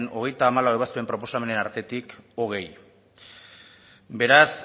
hogeita hamalau ebazpen proposamenen artetik hogei beraz